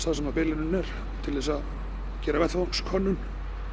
þar sem bilunin er til þess að gera vettvangskönnun